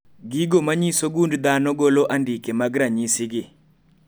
Gigo manyiso gund dhano golo andike mag ranyisi gi